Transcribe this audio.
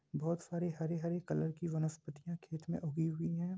बहुत सारी हरी-हरी कलर की वनस्पतियां खेत में उगी हुई है।